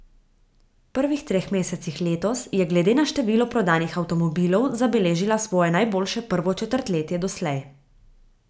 V prvih treh mesecih letos je glede na število prodanih avtomobilov zabeležila svoje najboljše prvo četrtletje doslej.